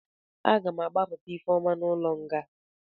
A ga m agbapụta Ifeoma n'ụlọ nga.